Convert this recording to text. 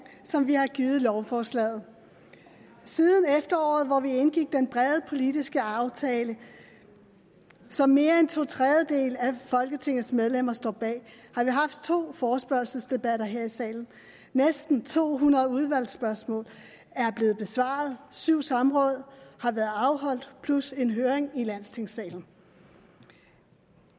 som vi har givet lovforslaget siden efteråret hvor vi indgik den brede politiske aftale som mere end to tredjedele af folketingets medlemmer står bag har vi haft to forespørgselsdebatter her i salen næsten to hundrede udvalgsspørgsmål er blevet besvaret og syv samråd har været afholdt plus en høring i landstingssalen